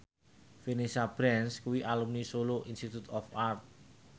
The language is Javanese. Vanessa Branch kuwi alumni Solo Institute of Art